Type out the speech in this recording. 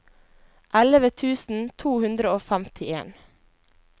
elleve tusen to hundre og femtien